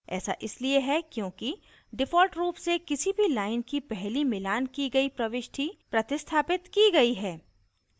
ऐसा इसलिए है क्योंकि default रूप से किसी भी line की पहली मिलान की गयी प्रविष्टि प्रतिस्थापित की गयी है